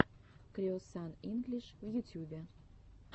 креосан инглиш в ютюбе